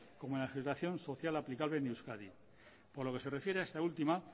como la legislación social aplicable en euskadi por lo que se refiere a esta última